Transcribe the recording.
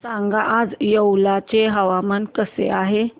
सांगा आज येवला चे हवामान कसे आहे